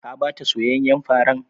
Ka ba ta soyayyen farar?